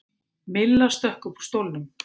Milla stökk upp úr stólnum.